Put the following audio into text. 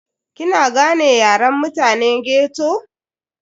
Kina gane Yaren mutane ghetto?